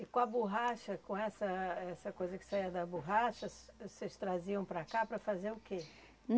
E com a borracha, com essa essa coisa que saia da borracha, vocês traziam para cá para fazer o quê?